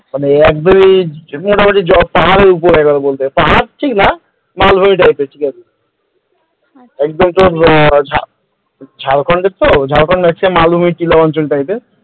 মানে একেবারে মোটামুটি পাহাড়ের উপর বলতে গেলে পাহাড় ঠিক না মালভূমি type র ঠিক আছে একদম তোর ঝাড়খণ্ডের তো ঝাড়খণ্ডের ত মালভূমির ছিল অঞ্চলটাতে,